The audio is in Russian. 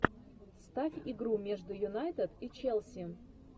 ставь игру между юнайтед и челси